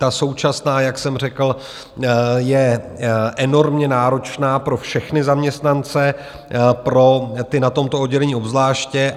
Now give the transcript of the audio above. Ta současná, jak jsem řekl, je enormně náročná pro všechny zaměstnance, pro ty na tomto oddělení obzvláště.